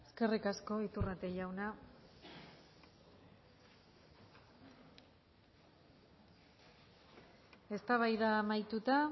eskerrik asko iturrate jauna eztabaida amaituta